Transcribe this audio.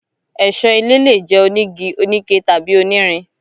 Ẹṣọ ilé lè jẹ onígí, onike, tàbí onírin.